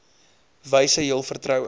wyse jul vertroue